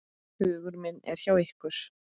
Hugur minn er hjá ykkur.